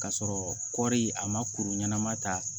K'a sɔrɔ kɔri a ma kuru ɲɛnama ta